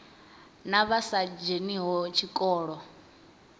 na vha sa dzheniho tshikolo